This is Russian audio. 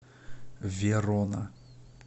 верона